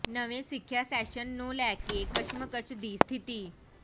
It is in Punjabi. ਨਵੇਂ ਸਿੱਖਿਆ ਸੈਸ਼ਨ ਨੂੰ ਲੈ ਕੇ ਕਸ਼ਮਕਸ਼ ਦੀ ਸਥਿਤੀ